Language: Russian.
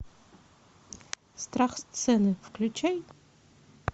страх сцены включай